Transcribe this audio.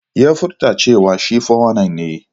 Ya furta cewa shi 419 ne.